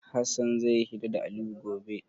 Hassan zai yi hira da Aliyu gobe.